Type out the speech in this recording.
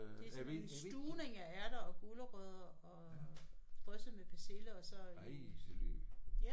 Det er sådan en stuvning af ærter og gulerødder og drysset med persille og så